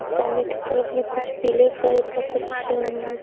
सामने की तरफ में कुछ पीले कलर का कुछ --